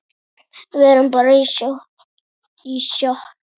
Við erum bara í sjokki.